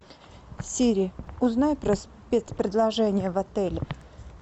сири узнай про спецпредложения в отеле